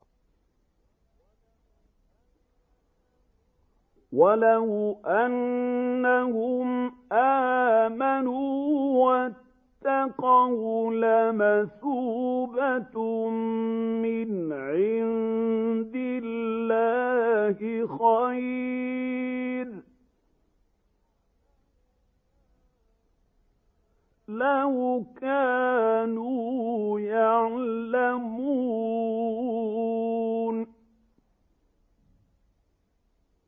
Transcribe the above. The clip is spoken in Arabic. وَلَوْ أَنَّهُمْ آمَنُوا وَاتَّقَوْا لَمَثُوبَةٌ مِّنْ عِندِ اللَّهِ خَيْرٌ ۖ لَّوْ كَانُوا يَعْلَمُونَ